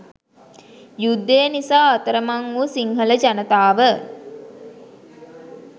යුද්ධය නිසා අතරමං වූ සිංහල ජනතාව